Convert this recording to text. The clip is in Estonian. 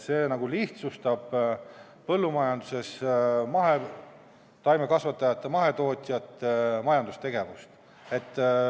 See lihtsustab põllumajanduses mahetaimekasvatajate, mahetootjate majandustegevust.